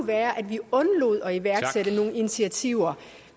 være at vi undlod at iværksætte nogle initiativer